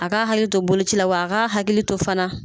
A ka hakili to boloci la wa a ka hakili to fana.